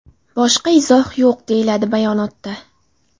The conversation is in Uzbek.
Boshqa izoh yo‘q”, deyiladi bayonotda.